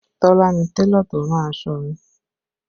Tola ni Télọ̀ tó rán aṣọ mi